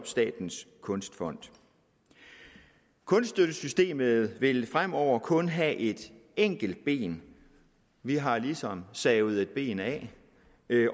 statens kunstfond kunststøttesystemet vil fremover kun have et enkelt ben vi har ligesom savet et ben af